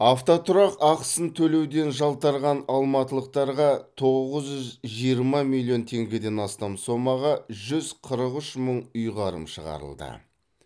автотұрақ ақысын төлеуден жалтарған алматылықтарға тоғыз жүз жиырма миллион теңгеден астам сомаға жүз қырық үш мың ұйғарым шығарылды